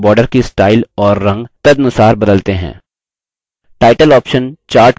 ध्यान दें कि chart के border की स्टाइल और रंग तदनुसार बदलते हैं